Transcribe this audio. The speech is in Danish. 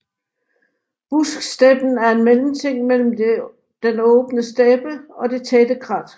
Busksteppen er en mellemting mellem den åbne steppe og det tætte krat